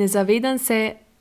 Ne, zavedam se,